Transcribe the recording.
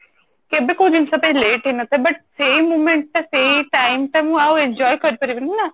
କେବେ କୋଉ ଜିନିଷ ପାଇଁ late ହେଇ ନଥାଏ but Sea moment ଟା ସେଇ time ଟା ମୁଁ ଆଉ enjoy କରି ପାରିବିନି ନା